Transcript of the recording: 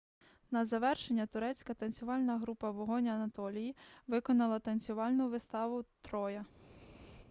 на завершення турецька танцювальна група вогонь анатолії виконала танцювальну виставу троя